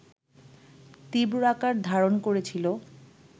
তীব্র আকার ধারণ করেছিল